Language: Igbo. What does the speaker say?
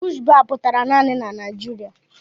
Bush baa pụtara naanị na Naịjiria.